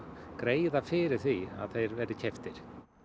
greiða fyrir því að þeir verði keyptir